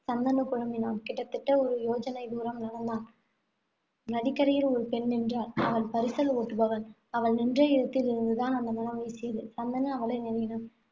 சந்தனு குழம்பினான். கிட்டத்தட்ட ஒரு யோஜனை தூரம் நடந்தான். நதிக்கரையில் ஒரு பெண் நின்றாள். அவள் பரிசல் ஓட்டுபவள். அவள் நின்ற இடத்தில் இருந்து தான் அந்த மணம் வீசியது. சந்தனு அவளை நெருங்கினான்.